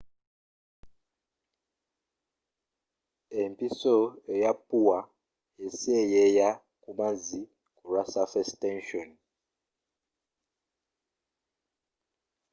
empiso eya ppuwa eseeyeeya ku mazzi kulwa surface tension